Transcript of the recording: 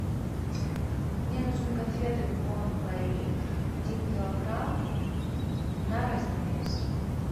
мне нужны конфеты бон пари один килограмм на разновес